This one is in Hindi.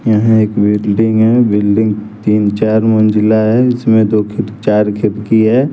यहां एक बिल्डिंग है बिल्डिंग तीन चार मंजिला है इसमें दो खी चार खिड़की है।